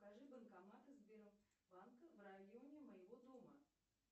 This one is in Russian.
покажи банкоматы сбербанка в районе моего дома